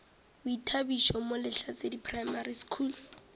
boithabišo mo lehlasedi primary school